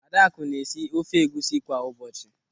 Adakụ na-esi ofe egwusi kwa ụbọchị.